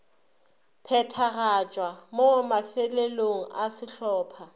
phethagatšwa mo mafelelong a sehlopha